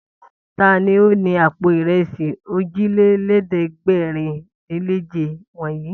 Ta ni ó ni àpò ìrẹsì òjìlélẹ́ẹ̀dẹ́gbẹ̀rúndínèje wọ̀nyí?